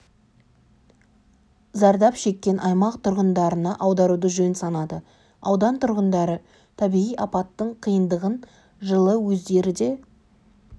зардап шеккен аймақ тұрғындарына аударуды жөн санады аудан тұрғындары табиғи апаттың қиындығын жылы өздері де